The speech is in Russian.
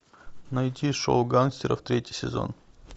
найти шоу гангстеров третий сезон